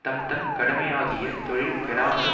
தம் தம் கடமையாகிய தொழில் கெடாமல்